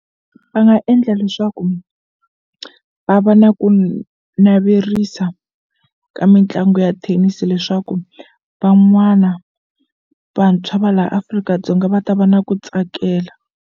Va nga endla leswaku va va na ku naverisa ka mitlangu ya thenisi leswaku van'wana vantshwa va la Afrika-Dzonga va ta va na ku tsakela.